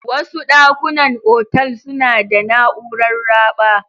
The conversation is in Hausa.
Wasu dakunan otal suna da na'urar raɓa.